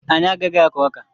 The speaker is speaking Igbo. Anyị agaghị akụ ọka.